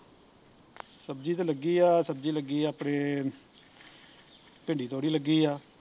ਸਬਜ਼ੀ ਤੇ ਲੱਗੀ ਆ ਸਬਜ਼ੀ ਲੱਗੀ ਆ ਆਪਣੇ ਭਿੰਡੀ ਤੋਰੀ ਲੱਗੀ ਆ